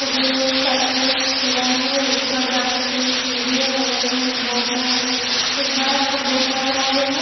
बगल में एक शटर खुला है ऊपर जाने के लिए सीढ़ी है बगल में एक बोर्ड लगा है ऊपर में एक बड़ासा बोर्ड लगा हुआ है।